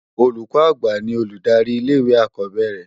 Ólúkò ágbá ni olúdári ilé iwé ákòbèérè